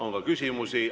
On ka küsimusi.